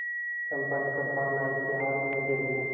चंपा ने कृपाण नायक के हाथ में दे दिया